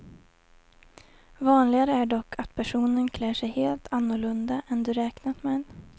Vanligare är dock att personen klär sig helt annorlunda än du räknat med.